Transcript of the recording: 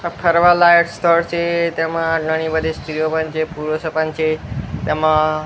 આ ફરવા લાયક સ્થળ છે તેમાં ઘણી બધી સ્ત્રીઓ પણ છે પુરુષો પણ છે તેમા--